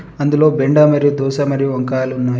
అందులో బెండ మరియు దోస మరియు వంకాయలు ఉన్నాయి.